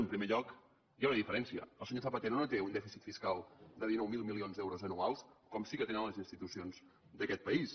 en primer lloc hi ha una diferència el senyor zapatero no té un dèficit fiscal de dinou mil milions d’euros anuals com sí que tenen les institucions d’aquest país